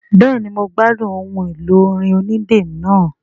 Bẹ́ẹ̀ni mo gbádùn ohun èlò orin onídẹ náà